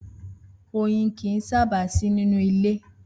Oyin kìí sábà sì nínú ilé